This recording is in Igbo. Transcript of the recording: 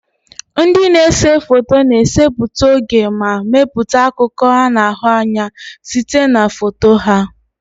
Ndị na-ese foto na-esetịpụ oge ma mepụta akụkọ a na-ahụ anya site na foto ha.